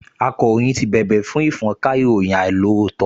Akàròyìn ti bèbè fún ìfọ́nka ìròyìn àìlóòótọ́